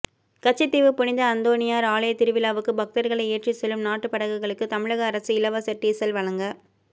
கச்சத்தீவு புனித அந்தோணியாா் ஆலய திருவிழாவுக்கு பக்தா்களை ஏற்றிச் செல்லும் நாட்டுப்படகுகளுக்கு தமிழகஅரசு இலவச டீசல் வழங்க